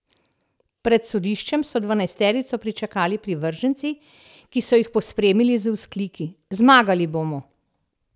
Pred sodiščem so dvanajsterico pričakali privrženci, ki so jih pospremili z vzkliki: "Zmagali bomo".